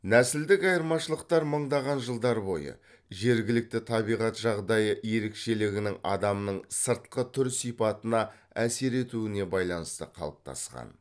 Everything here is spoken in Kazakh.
нәсілдік айырмашылықтар мыңдаған жылдар бойы жергілікті табиғат жағдайы ерекшелігінің адамның сыртқы түр сипатына әсер етуіне байланысты қалыптасқан